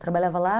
Trabalhava lá.